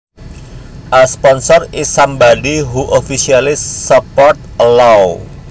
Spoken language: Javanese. A sponsors is somebody who officially supports a law